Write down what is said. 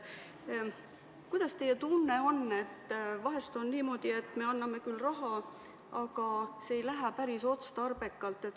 Kuidas teie tunne on, vahest on niimoodi, et me anname küll raha, aga seda ei kasutata päris otstarbekalt?